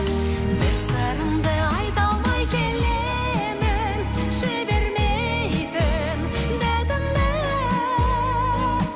бір сырымды айта алмай келемін жібермейтін датымды